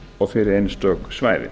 og fyrir einstök svæði